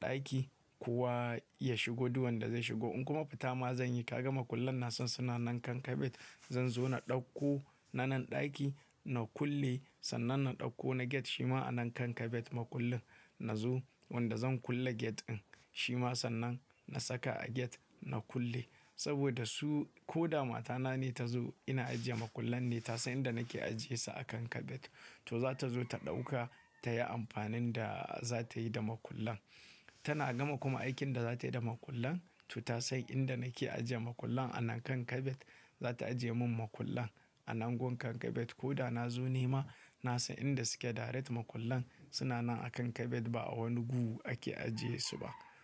ɗaki, kowa ya shigo duk wanda zai shigo. In kuma fitama zan yi, ka ga makullan na san suna nan kan kabet. Zan zo na ɗauko na nan ɗaki na kulle. Sannan na ɗauko na gate shi ma a nan kan kabet makullin na zo wanda zan kulle gate din. Shi ma sannan na saka a gate na kulle. Saboda su, ko da matana ne ta zo ina ajiye makullan ne ta san inda nake ajiyesu akan kabet. To za ta zo ta ɗauka ta yi amfanin da za ta yi da makullan. Tana gama kuma aikin da za ta yi da makullan to ta san inda nake ajiye makullan a nan kan kabet. Za ta ajiye mun makullan a nan gun kan kabet. Ko da na zo nema, na, san inda suke direct makullan suna nan akan kabet ba a wani gu ake ajiyesu ba.